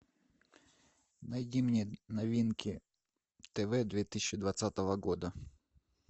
найди мне новинки тв две тысячи двадцатого года